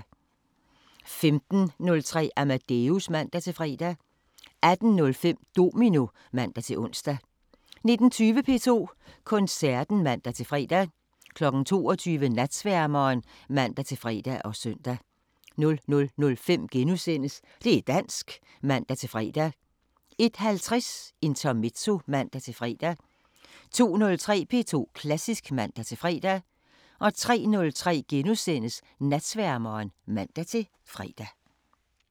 15:03: Amadeus (man-fre) 18:05: Domino (man-ons) 19:20: P2 Koncerten (man-fre) 22:00: Natsværmeren (man-fre og søn) 00:05: Det' dansk *(man-fre) 01:50: Intermezzo (man-fre) 02:03: P2 Klassisk (man-fre) 03:03: Natsværmeren *(man-fre)